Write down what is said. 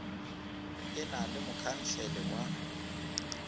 e na le mokhansele wa